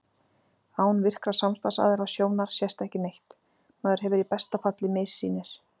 Án virkra samstarfsaðila sjónar sést ekki neitt, maður hefur í besta falli missýnir.